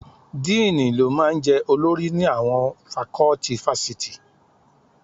Díìnì ló máa ń jẹ́ olórí ni àwọn fakọ́tì fásitì